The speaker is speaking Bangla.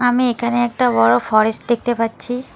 আমি একানে একটা বড় ফরেস্ট দেখতে পাচ্ছি।